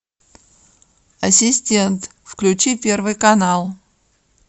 ассистент включи первый канал